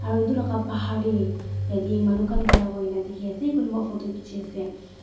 Aro etu laka bahar tey yate manu khan khara hoina kena dekhe ase kunupah photo kheji ase.